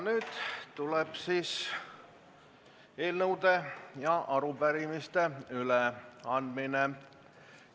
Nüüd tuleb siis eelnõude ja arupärimiste üleandmine.